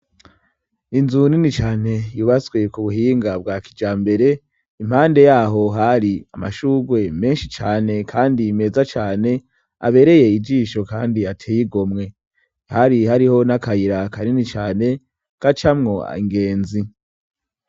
Inzu nini cane yubaswee ku buhinga bwa kija mbere impande yaho hari amashugwe menshi cane, kandi imeza cane abereye ijisho, kandi atey igomwe hari hariho n'akayira akanini cane kacamwo angenzi.